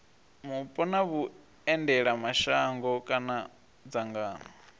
mupo na vhuendelamashango kana dzangano